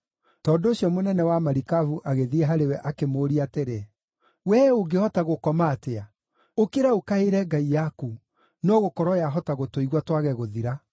Tondũ ũcio mũnene wa marikabu agĩthiĩ harĩ we, akĩmũũria atĩrĩ, “Wee ũngĩhota gũkoma atĩa? Ũkĩra ũkaĩre ngai yaku! No gũkorwo yahota gũtũigua twage gũthira.”